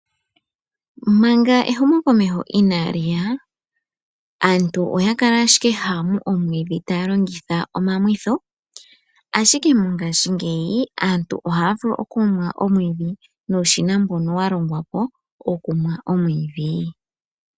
Manga ehumokomeho inaa liya, aantu oya kala ashike haya mu omwiidhi taa longitha omamwitho, ashike mongaashingeyi aantu ohaa mu omwiidhi ta ya longitha uushina mbu wa ndulukwapo nelalakano olyo kumwa omwiidhi.